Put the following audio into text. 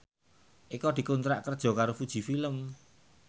Eko dikontrak kerja karo Fuji Film